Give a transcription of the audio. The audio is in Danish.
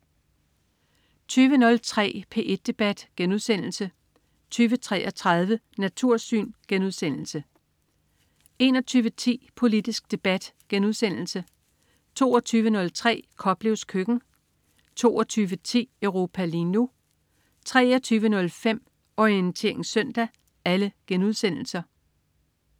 20.03 P1 Debat* 20.33 Natursyn* 21.10 Politisk debat* 22.03 Koplevs køkken* 22.10 Europa lige nu* 23.05 Orientering søndag*